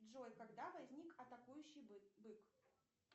джой когда возник атакующий бык